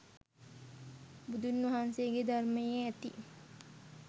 බුදුන් වහන්සේගේ ධර්මයේ ඇති